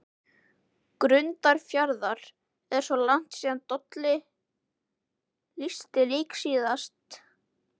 Grundarfjarðar: Er svona langt síða Dolli lýsti leik síðast?